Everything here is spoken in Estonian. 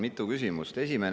Mitu küsimust!